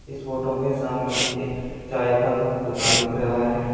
इस फोटो में सामने एक चाय का दुकान दिख रहा है।